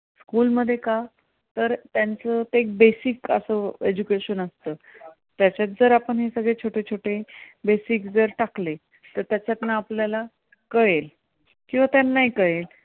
तर त्यांचं ते एक basic असं education असतं, त्याच्यात जर छोटे छोटे basic जर टाकले तर त्याच्यातन आपल्याला कळेल किंवा त्यांनाही कळेल.